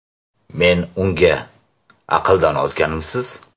Men unga: ‘Aqldan ozganmisiz?